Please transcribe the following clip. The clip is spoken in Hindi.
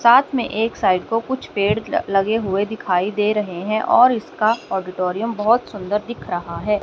साथ में एक साइड को कुछ पेड़ लगे हुए दिखाई दे रहे हैं और इसका ऑडिटोरियम बहोत सुंदर दिख रहा है।